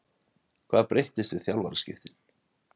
Hvað breyttist við þjálfaraskiptin?